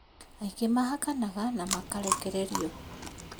Aingĩ mahakanaga na makarekeririo